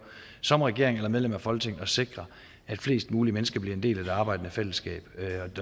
som regering eller medlem af folketinget at sikre at flest mulige mennesker bliver en del af det arbejdende fællesskab